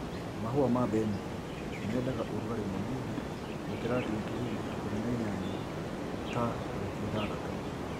Mahũa ma mbeniko mendaga ũrugarĩ mũnini gũkĩra digiri ikũmi na inyanya ta wiki ithathtatũ.